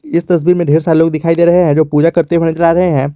इस तस्वीर में ढेर सारे लोग दिखाई दे रहे हैं जो पूजा करते हुए नजर आ रहे हैं।